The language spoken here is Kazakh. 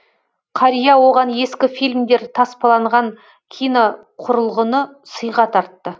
қария оған ескі фильмдер таспаланған киноқұрылғыны сыйға тартты